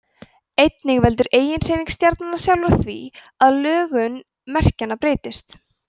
einnig veldur eiginhreyfing stjarnanna sjálfra því að lögun merkjanna breytist